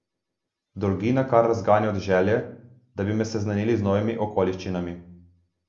Dolgina kar razganja od želje, da bi me seznanili z novimi okoliščinami.